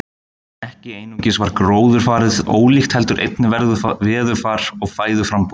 Ekki einungis var gróðurfarið ólíkt heldur einnig veðurfar og fæðuframboð.